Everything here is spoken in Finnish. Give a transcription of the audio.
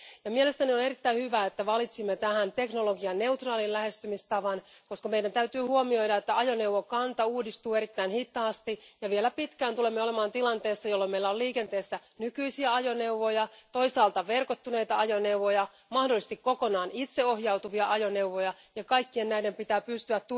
Mielestäni on erittäin hyvä, että valitsimme tähän teknologianeutraalin lähestymistavan, koska meidän täytyy huomioida, että ajoneuvokanta uudistuu erittäin hitaasti ja että vielä pitkään tulemme olemaan tilanteessa, jolloin meillä on liikenteessä nykyisiä ajoneuvoja, verkottuneita ajoneuvoja ja mahdollisesti kokonaan itseohjautuvia ajoneuvoja ja näiden kaikkien pitää pystyä